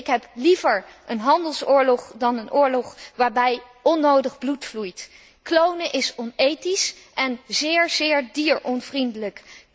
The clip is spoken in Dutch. Ik heb liever een handelsoorlog dan een oorlog waarbij onnodig bloed vloeit. Klonen is onethisch en zeer, zeer dieronvriendelijk.